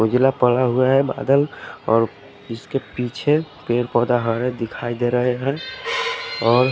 उजला पड़ा हुआ है बादल और इसके पीछे पेड़ पोधा हा है दिखाई दे रहा है और--